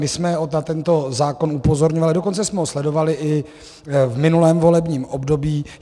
My jsme na tento zákon upozorňovali, dokonce jsme ho sledovali i v minulém volebním období.